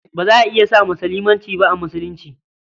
Ba za a iya sa mace limanci ba a Musulunci.